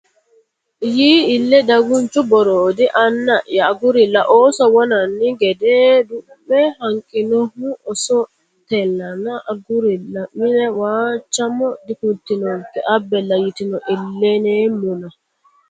Yii ille daganchu Boroodi Anna ya agurilla ooso wonanni gede duu me hanqinohu oosontellana agurilla mine Waachamo Dikultinonkena abbella yitino iillineemmona !